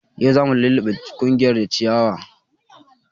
Yau zamu luluɓe kunƴar da ciyawa